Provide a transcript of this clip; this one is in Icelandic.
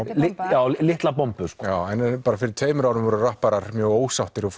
eða litla bombu já nú bara fyrir tveimur árum voru rapparar mjög ósáttir og